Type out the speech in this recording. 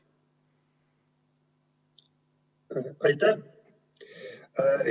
Aitäh!